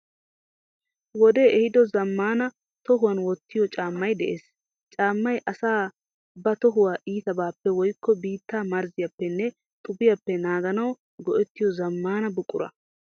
Wodee ehiido zammaana tohuwan wottiyo caammayi de'ees. Caammayi asay ba tohuwa iitabaappe woyikko biittaa marzziyappenne xubiyappe naaganawu go'ettiyo zammaana buqura.